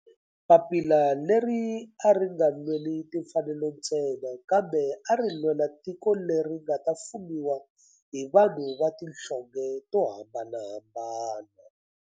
Papila leri a ri nga lweli timfanelo ntsena kambe ari lwela tiko leri nga ta fumiwa hi vanhu va tihlonge to hambanahambana.